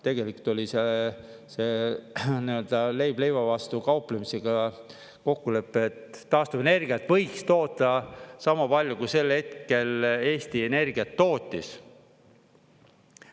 Tegelikult oli see leib leiva vastu kauplemisega kokkulepe, et taastuvenergiat võiks toota sama palju, kui sel hetkel Eesti energiat tootis.